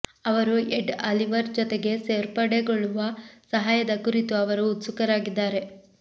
ಅವರು Ed Oliver ಜೊತೆಗೆ ಸೇರ್ಪಡೆಗೊಳ್ಳುವ ಸಹಾಯದ ಕುರಿತು ಅವರು ಉತ್ಸುಕರಾಗಿದ್ದಾರೆ